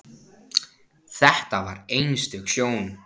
Þetta var einstök sjón.